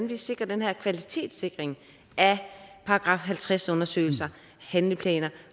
vi sikrer den her kvalitetssikring af § halvtreds undersøgelser og handleplaner